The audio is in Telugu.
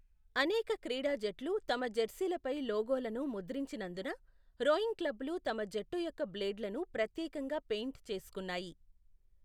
అనేక క్రీడా జట్లు తమ జెర్సీలపై లోగోలను ముద్రించినందున, రోయింగ్ క్లబ్బులు తమ జట్టు యొక్క బ్లేడ్లను ప్రత్యేకంగా పెయింట్ చేసుకున్నాయి.